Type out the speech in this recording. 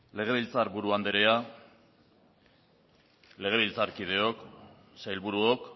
legebiltzar buru andrea legebiltzarkideok sailburuok